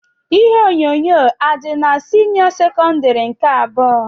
Ihe onyonyo adị n'senio sekondari nke abụọ?